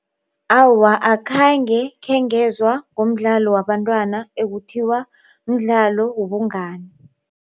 Awa. akhange khengezwa ngomdlalo wabantwana ekuthiwa mdlalo wobungani.